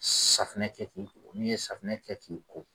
Safunɛ kɛ k'i ko, n'i ye safunɛ kɛ k'i ko